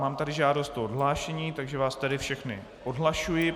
Mám tady žádost o odhlášení, takže vás tady všechny odhlašuji.